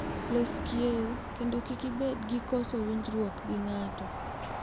Los kieu, kendo kik ibed gi koso winjruok gi ng'ato.